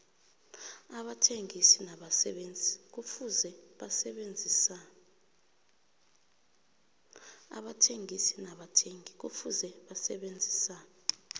abathengisi nabathengi kufuze basebenzisane